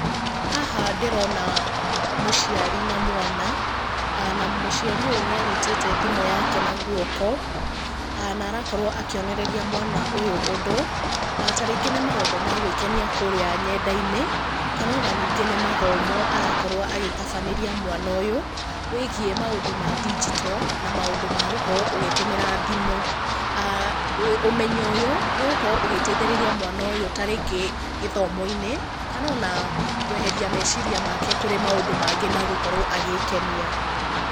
Haha ndĩrona mũciari na mwana, na mũciari ũyũ nĩanyitĩte thimũ yake na guoko. Na arakorwo akĩonereria mwana ũyũ ũndũ, ta rĩngĩ nĩ maũndũ ma gwĩkenia kũrĩa nyenda-inĩ. Kana ona nĩngĩ nĩ mathomo arakorwo agĩtabanĩria mwana ũyũ wĩgiĩ maũndũ ma ndigito na maũndũ ma gũkorwo ũgĩtũmĩra thimũ. aah Ũmenyo ũyũ nĩũgũkorwo ũgĩteithĩrĩria mwana ũyũ ta rĩngĩ gĩthomo-inĩ, kana ona kweheria meciria make kũrĩ maũndũ mangĩ na gũkorwo agĩkenia.